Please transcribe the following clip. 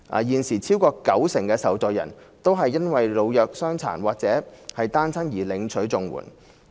現時超過九成的受助人都是因為老弱傷殘或單親而領取綜援。